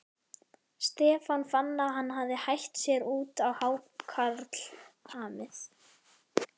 Stefán fann að hann hafði hætt sér út á hákarlamið.